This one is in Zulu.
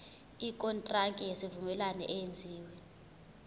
ikontraki yesivumelwano eyenziwe